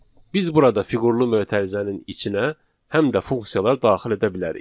Biz burada fiqurlu mötərizənin içinə həm də funksiyalar daxil edə bilərik.